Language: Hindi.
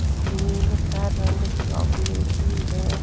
इस का रंग चॉकलेटी है।